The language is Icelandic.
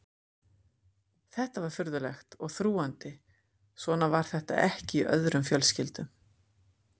Þetta var furðulegt og þrúgandi, svona var þetta ekki í öðrum fjölskyldum.